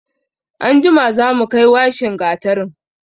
Anjima za mu kai washin gatarin.